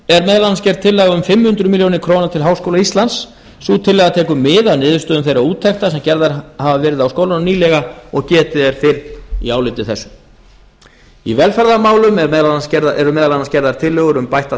er meðal annars gerð tillaga um fimm hundruð milljónir króna til háskóla íslands sú tillaga mið af niðurstöðum þeirra úttekta sem gerðar hafa verið á skólanum nýlega og getið er fyrr í áliti þessu í velferðarmálum eru meðal annars gerðar tillögur um bætta